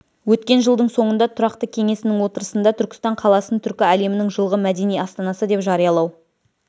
өткен жылдың соңында тұрақты кеңесінің отырысында түркістан қаласын түркі әлемінің жылғы мәдени астанасы деп жариялау